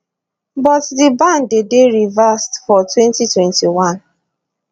but di ban dey dey reversed for 2021